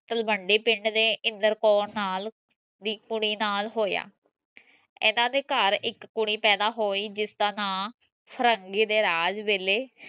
ਤਲਵੰਡੀ ਪਿੰਡ ਦੇ ਇੰਦਰ ਕੌਰ ਨਾਲ ਦੀ ਕੁੜੀ ਨਾਲ ਹੋਇਆ ਇਹਨਾਂ ਦੇ ਘਰ ਇਕ ਕੁੜੀ ਪੈਦਾ ਹੋਈ ਜਿਸਦਾ ਨਾਂ ਫ਼ਿਰੰਗੀ ਦੇ ਰਾਜ ਵੇਲੇ